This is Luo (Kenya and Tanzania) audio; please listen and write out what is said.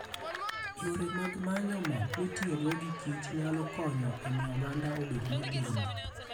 Yore mag manyo mor mitiyogo gi Kich nyalo konyo e miyo oganda obed motegno.